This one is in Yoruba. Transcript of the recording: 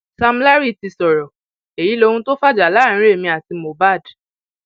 sam larry ti sọrọ èyí lóhun tó fàjà láàrin èmi àti mohbad